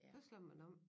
Så slår man om